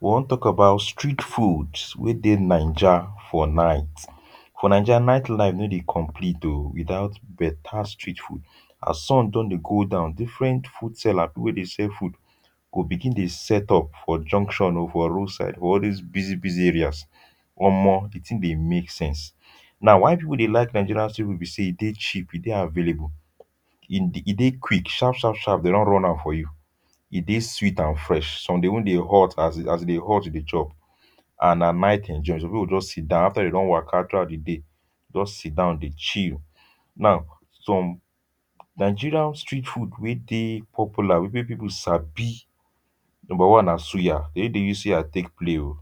we wan talk about street foods wey dey Naija for night. for Naija night life no dey complete o without beta street food, as sun dun dey go down different food seller people wey dey sell food go begin dey set up for junction o, for road side for all this busy busy areas. omo, the thing dey make sense. now why people dey like nigerian stew be say e dey cheap, e dey available e e dey qucik sharp sharp sharp dem dun run am for you. e dey sweet and fresh. some dey even dey hot as e as e dey hot you dey chop and nah night enjoy. some people go just sit down after dem don waka throughout the day they just sit down dey chill. now some nigerian street food wey dey popular wey people sabi. number one nah suya. dem no dey use suya take play o.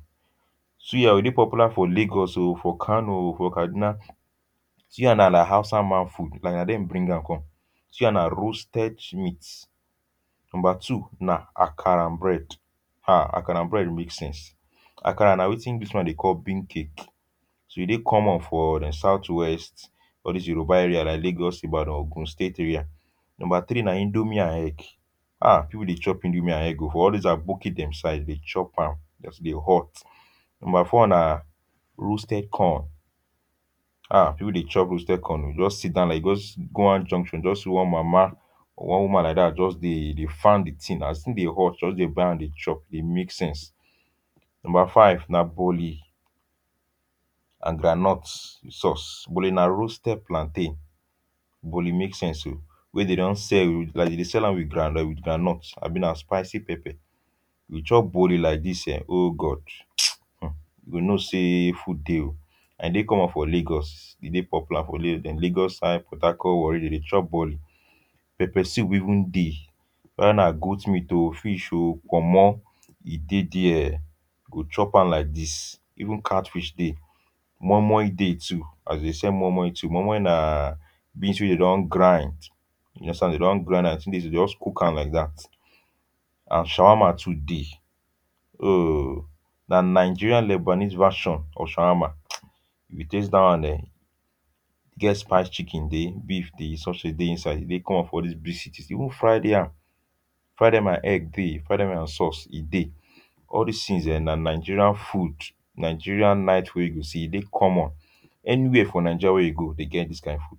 suya o e dey popular for Lagos o, for Kanu o ,for Kaduna suya na na like hausa man food and na dem bring am come. suya na roasted shmeat. number two na akara and bread. um akara and bread make sense. akara na wetin english man dey call 'bean cake'. so e dey common for dem south west, all this Yoruba area like Lagos, Ibadan, and Ogun state area. number three na indomie and hegg. um people dey chop indomie and hegg o for all those aboki dem side dem chop am just e dey hot. number four na roasted corn um people dey chop roasted corn o. you go just sit down like this just go out junction just see one mama one woman like that just dey dey fan the thing, as the thing a dey hot just dey buy am dey chop dey make sense. number five na bole and groundnut with sauce. bole na roasted plantain. bole make sense o wey dey don sell with like them dey sell am with groun with groundnut abi nah spicy pepper. if you chop bole like this um o God mtchewww [um]you go know say food dey o and e dey common for Lagos, e dey popular for La dem Lagos side Port Harcort Warri dem dey chop bole. pepper soup even dey. weda na goat o, meat o, fish o, pommo e dey there. go chop am like this even cat fish dey. moi moi dey too as in they sell moi moi too. moi moi na beans wey them don grind, you understand? dem don grind am as in dey so dey just cook am like that and shawarma too dey. [um]na nigerian Lebanese version of shawarma um. if you taste da one [um]gets spiced chicken dey, beef dey, sausage dey inside. e dey common for this big cities, even fried yam. fried yam and egg dey. fried yam and sauce e dey. all these things [um]na nigerian food, nigerian night food wey you go see e dey common. anywhere for naija wey you go them get this kind food.